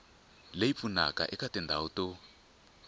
leyi pfunaka eka tindhawu to